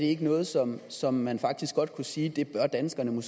ikke noget som som man faktisk godt kunne sige at danskerne